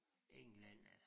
En eller anden øh